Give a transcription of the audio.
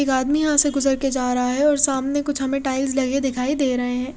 एक आदमी यहाँ से गुज़र के जारा है और सामने कुछ हमे टाइल्स लगे दिखाई दे रहे है।